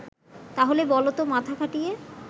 তাহলে বলতো মাথা খাটিয়ে